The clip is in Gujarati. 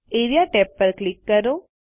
એઆરઇએ ટેબ પર ક્લિક કરો